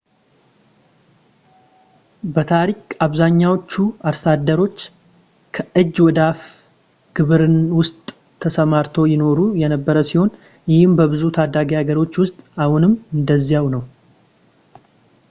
በታሪክ አብዛኛዎቹ አርሶ አደሮች ከእጅ ወደ አፍ ግብርና ውስጥ ተሰማርተው ይኖሩ የነበረ ሲሆን ይህ በብዙ ታዳጊ ሀገሮች ውስጥ አሁንም እንደዚያው ነው